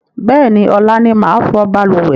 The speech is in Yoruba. Bẹ́ẹ̀ni, ọ̀la ni màá fọ̀ balùwẹ̀